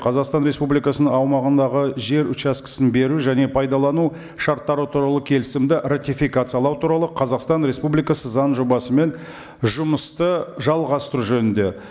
қазақстан республикасының аумағындағы жер учаскесін беру және пайдалану шарттары туралы келісімді ратификациялау туралы қазақстан республикасы заң жобасымен жұмысты жалғастыру жөнінде